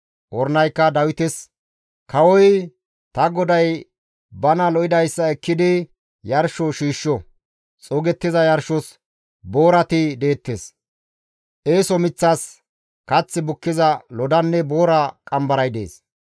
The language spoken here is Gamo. Ornaykka Dawites, «Kawoy! Ta goday bana lo7idayssa ekkidi yarsho shiishsho; xuugettiza yarshos boorati deettes; eeso miththas kath bukkiza lodanne boora qambaray dees.